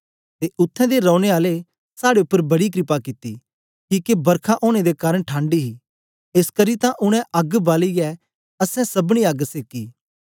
ते उत्थें दे रौने आलें साड़े उपर बड़ी कृपा कित्ती किके बरखा ओनें दे कारन ठंड ही एसकरी तां उनै अग्ग बालियै असैं सबनी अग्ग सेकी